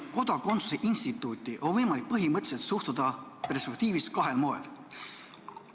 Kodakondsuse instituuti on põhimõtteliselt võimalik suhtuda kahel moel.